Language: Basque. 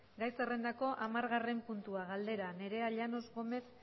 gai zerrendako hamargarren puntua galdera nerea llanos gómez